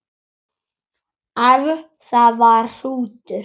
Ef það var hrútur.